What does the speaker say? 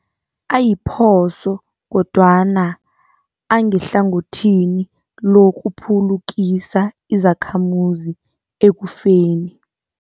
Ayiphoso kodwana angehlangothini lokuphulukisa izakhamuzi ekufeni.